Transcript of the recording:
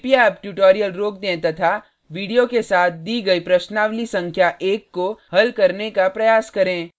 कृपया अब ट्यूटोरियल रोक दें तथा वीडियो के साथ दी गई प्रश्नावली संख्या1 को हल करने का प्रयास करें